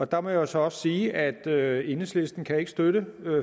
der må jeg så også sige at enhedslisten ikke kan støtte